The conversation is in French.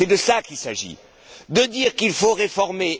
C'est de cela qu'il s'agit, de dire qu'il faut réformer.